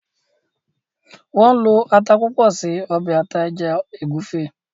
Wón ló atá púpọ ṣe obe ata eja egufe.